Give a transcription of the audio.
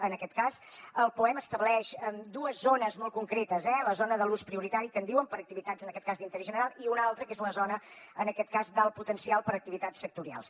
en aquest cas el poem estableix dues zones molt concretes eh la zona de l’ús prioritari que en diuen per a activitats en aquest cas d’interès general i una altra que és la zona en aquest cas d’alt potencial per a activitats sectorials